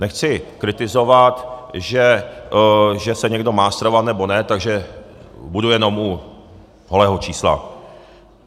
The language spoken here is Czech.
Nechci kritizovat, že se někdo má stravovat nebo ne, takže budu jenom u holého čísla.